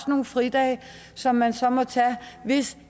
nogle fridage som man så må tage hvis